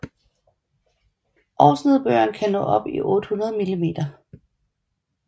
Årsnedbøren kan nå op i 800 mm